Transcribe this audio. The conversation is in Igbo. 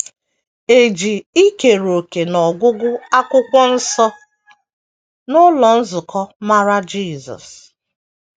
E ji ikere òkè n’ọgụgụ Akwụkwọ Nsọ n’ụlọ nzukọ mara Jisọs